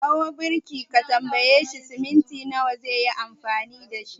Ka kira birki ka tambaye shi cement nawa zaayi amfani dashi